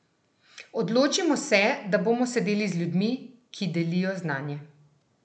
Odločimo se, da bomo sedeli z ljudmi, ki delijo znanje!